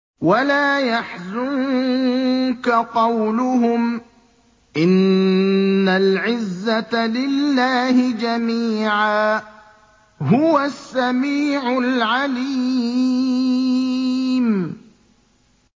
وَلَا يَحْزُنكَ قَوْلُهُمْ ۘ إِنَّ الْعِزَّةَ لِلَّهِ جَمِيعًا ۚ هُوَ السَّمِيعُ الْعَلِيمُ